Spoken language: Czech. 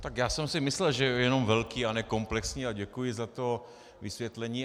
Tak já jsem si myslel, že jenom velký a ne komplexní a děkuji za to vysvětlení.